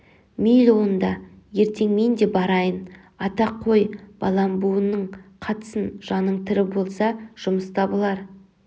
мейлі онда ертең мен де барайын ата қой балам буының қатсын жаның тірі болса жұмыс табылар